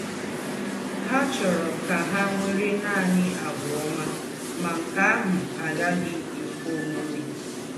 Há chọ́rọ̀ kà hà nwèrè nánị̀ àgwà ọ́mà, má nkè áhụ̀ agàghị̀ èkwé òmè.